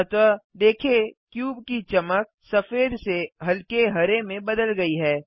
अतः देखें क्यूब की चमक सफेद से हल्के हरे में बदल गयी है